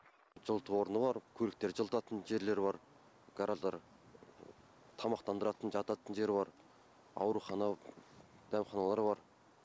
жылыту орны бар көліктерді жылытатын жерлер бар гараждар тамақтандыратын жататын жер бар аурухана дәмханалар бар